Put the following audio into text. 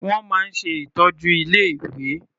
Wọ́n máa ń ṣe ìtọ́jú ilé-ìwé.